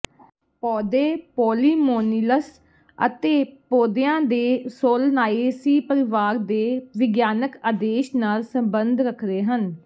ਪੌਦੇ ਪੌਲੀਮੋਨੀਅਲਸ ਅਤੇ ਪੌਦਿਆਂ ਦੇ ਸੋਲਨਾਏਸੀ ਪਰਿਵਾਰ ਦੇ ਵਿਗਿਆਨਕ ਆਦੇਸ਼ ਨਾਲ ਸੰਬੰਧ ਰੱਖਦੇ ਹਨ